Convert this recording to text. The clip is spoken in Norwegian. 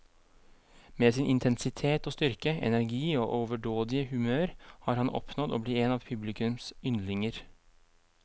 Med sin intensitet og styrke, energi og overdådige humør har han oppnådd å bli en av publikums yndlinger.